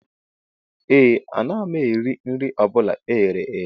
Ee, anaghị m eri nri ọ bụla e ghere eghe